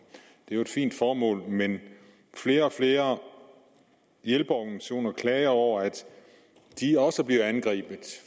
det er jo et fint formål men flere og flere hjælpeorganisationer klager over at de også bliver angrebet